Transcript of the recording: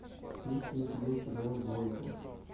есть ли у тебя сериал двойка